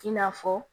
I n'a fɔ